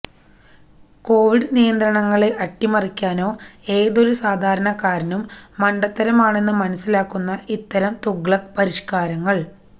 Covid നിയന്ത്രണങ്ങളെ അട്ടിമറിയ്ക്കാനാണോ ഏതൊരു സാധാരണക്കാരനും മണ്ടത്തരമാണെന്ന് മനസിലാകുന്ന ഇത്തരം തുഗ്ലക്ക് പരിഷ്കാരങ്ങള്